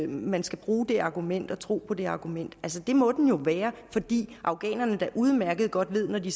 man skal bruge det argument og tro på det argument altså det må den jo være fordi afghanerne der udmærket godt ved at de